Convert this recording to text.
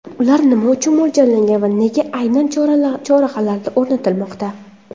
Ular nima uchun mo‘ljallangan va nega aynan chorrahalarda o‘rnatilmoqda?